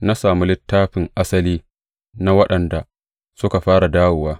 Na sami littafin asali na waɗanda suka fara dawowa.